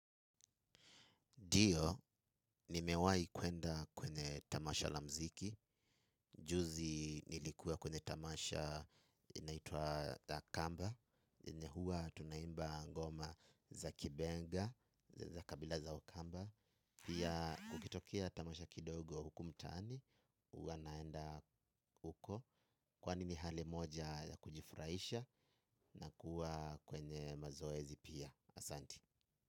Ndio, nimewahi kuenda kwenye tamasha la mziki. Juzi nilikuwa kwenye tamasha inaituwa Akamba. Yenye huwa tunaimba ngoma za kibenga za kabila za wakamba. Pia kukitokea Tamasha Kidogo huku mtaani huwa naenda huko. Kwani ni hali moja ya kujifurahisha na kuwa kwenye mazoezi pia asanti.